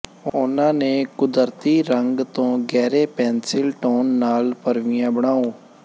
ਉਨ੍ਹਾਂ ਦੇ ਕੁਦਰਤੀ ਰੰਗ ਤੋਂ ਗਹਿਰੇ ਪੈਨਸਿਲ ਟੌਨ ਨਾਲ ਭਰਵੀਆਂ ਬਣਾਉ